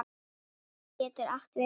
Myrká getur átt við um